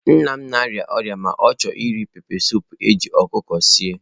Nna m na-arịa ọrịa ma chọọ iri pepesụpụ eji ọkụkọ sie.